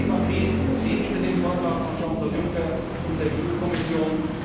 Die EVP steht hinter dem Vorschlag von Jean Claude Juncker und der EU Kommission.